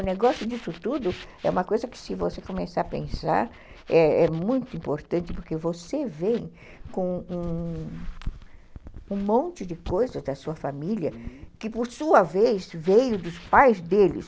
O negócio disso tudo é uma coisa que, se você começar a pensar, é muito importante, porque você vem com um monte de coisas da sua família, uhum, que, por sua vez, veio dos pais deles.